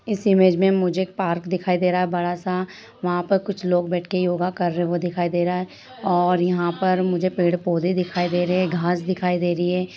इस इमेज में मुझे एक पार्क दिखाई दे रहा है बड़ा सा वहाँ पर कुछ लोग बैठकर योगा कर रहे हैं वो दिखाई दे रहा है और यहां पर मुझे पेड़-पौधे दिखाई दे रहे हैं घांस दिखाई दे रही है।